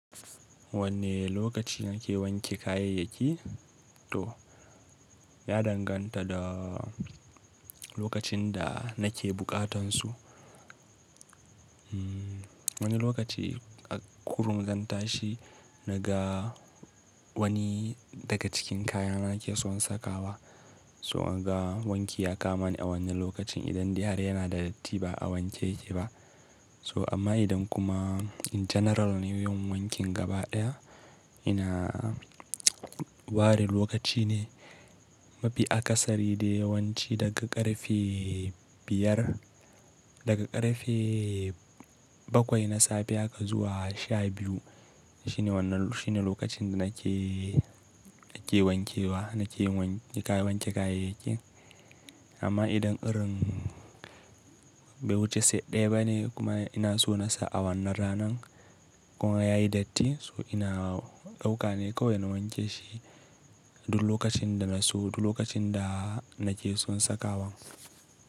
Wanne lokaci na ke wanke kayayyaki to ya danganta da lokacin da na ke buƙatan su. Wani lokaci a kurum zan tashi na ga wani daga cikin kayana ke son saka wa, so na ga wanki ya kam ni a wannan lokacin idan dai har yana da datti ba a wanke yake ba. To amma idan kuma in janaral ne yin wankin gabaɗaya, ina ware lokaci ne mafi akasari dai yawanci daga ƙarfe biyar, daga ƙarfe bakwai na safe haka zuwa sha biyu. Shi ne wannan, shi ne lokacin da na ke, na ke wankewa, na ke yin wan-- na ke wanke kayayyaki. Amma idan irin bai wuce seti ɗaya bane kuma ina so na sa a wannan ranan kuma yayi datti so ina ɗauka ne kawai na wanke shi duk lokacin da na so duk lokacin da na ke son saka wa.